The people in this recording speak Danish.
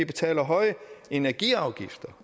betaler høje energiafgifter